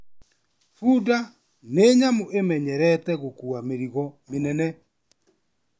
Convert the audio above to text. Bunda ni nyamũ ĩmenyerete gũkua mĩrigo mĩnene